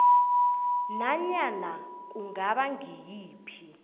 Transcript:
nanyana kungaba ngayiphi